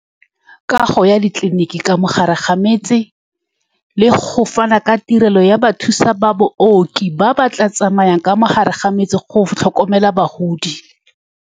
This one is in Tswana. Kago ya ditleliniki ka mogare ga metse, le go fana ka tirelo ya bathusa ba baoki ba ba tla tsamayang ka mogare ga metse go tlhokomela bagodi.